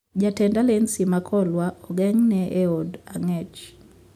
Jatend alensi ma Kolwa ogeng'ne eod ang'ech